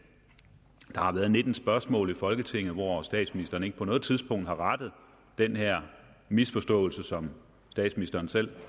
at der har været nitten spørgsmål i folketinget hvorunder statsministeren ikke på noget tidspunkt har rettet den her misforståelse som statsministeren selv